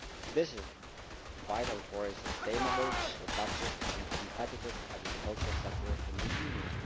This is vital for a sustainable, productive and competitive agriculture sector in the Union.